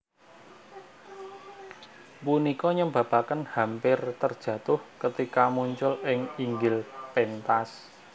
Punika nyebabaken hampir terjatuh ketika muncul ing inggil pentas